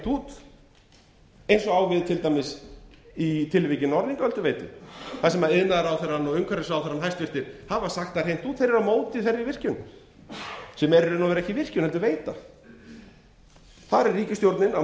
út eins og á til dæmis við í tilviki norðlingaölduveitu þar sem hæstvirtur iðnaðarráðherra og umhverfisráðherra hafa sagt það hreint út að þeir eru á móti þeirri virkjun sem er í raun og veru ekki virkjun heldur veita þar er ríkisstjórnin á